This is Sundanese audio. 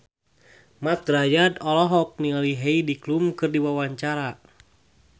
Mat Drajat olohok ningali Heidi Klum keur diwawancara